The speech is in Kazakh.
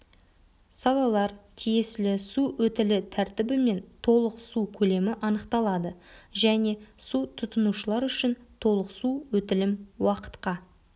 салалар тиесілі су өтілі тәртібі мен толық су көлемі анықталады және су тұтынушылар үшін толық су өтілім уақытқа